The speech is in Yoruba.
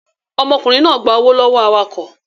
Ọmọkùnrin náà gba owó lọ́wọ́ awakọ̀